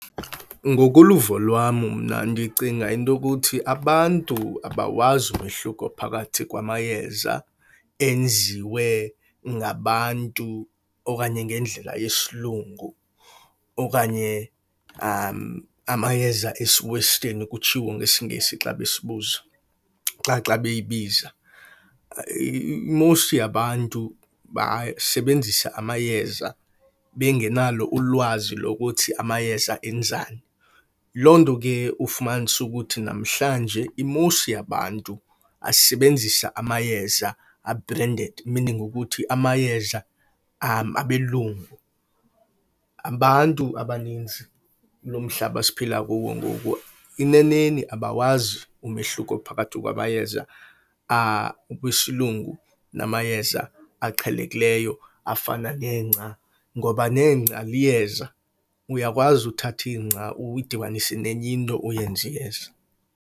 Ngokoluvo lwam mna ndicinga into yokuthi abantu abawazi umohluko phakathi kwamayeza enziwe ngabantu okanye ngendlela yesilungu okanye amayeza esi-Western, kutshiwo ngesiNgesi xa besibuza xa xa beyibiza. Most yabantu basebenzisa amayeza bengenalo ulwazi lokuthi amayeza enzani. Loo nto ke ufumanise ukuthi namhlanje i-most yabantu basebenzisa amayeza a-branded, meaning ukuthi amayeza abelungu. Abantu abaninzi kulo mhlaba siphila kuwo ngoku, eneneni abawazi umehluko phakathi kwamayeza akwisilungu namayeza aqhelekileyo afana nengca, ngoba nengca liyeza. Uyakwazi uthatha ingca uyidibanise nenye into uyenze iyeza.